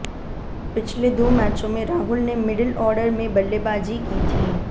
पिछले दो मैचों में राहुल ने मिडिल ऑर्डर में बल्लेबाजी की थी